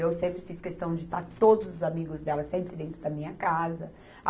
Eu sempre fiz questão de estar todos os amigos delas sempre dentro da minha casa.